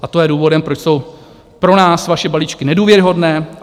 A to je důvodem, proč jsou pro nás vaše balíčky nedůvěryhodné.